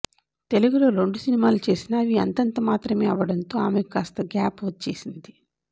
తెలుగులో రెండు సినిమాలు చేసినా అవి అంతంతమాత్రమే అవడంతో ఆమెకు కాస్త గ్యాప్ వచ్చేసింది